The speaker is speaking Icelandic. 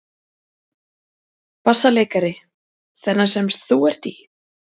BASSALEIKARI: Þennan sem þú ert í?